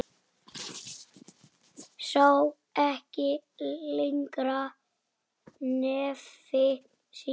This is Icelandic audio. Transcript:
Sá ekki lengra nefi sínu.